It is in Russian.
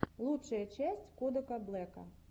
лучшая часть кодака блэка